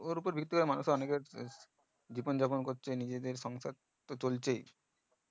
ওর উপর ভিত্তি করে মানুষ অনেকে জীবন যাপন করছে নিজেদের সংসার তো চলছেই